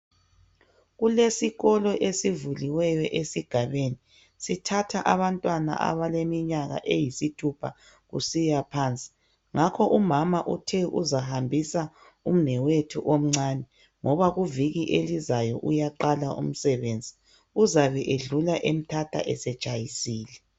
Kulesikolo esivuliweyo esigabeni ,sithatha abantwana abaleminyaka eyisithupha kusiya phansi. ngakho umama Uthe uzahambisa umnewethu omncani, ngoba kuviki elizayo uyaqala umsebenzi. Uzabe edlula emthatha setshayisile.